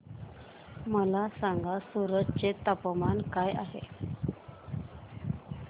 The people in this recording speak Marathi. मला सांगा सूरत चे तापमान काय आहे